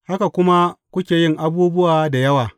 Haka kuma kuke yin abubuwa da yawa.